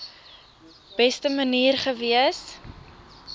beste manier gewees